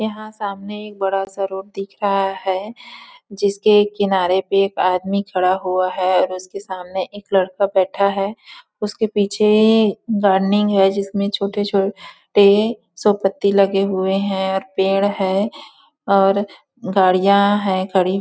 यहाँ सामने एक बड़ा- सा रोड दिख रहा है जिस के किनारे पे एक आदमी खड़ा हुआ है और उस के सामने एक लड़का बैठा है उस के पीछे है जिस में छोटे -छोटे सो पत्ती लगे हुए है और पेड़ है और गाड़िया है गाड़ी--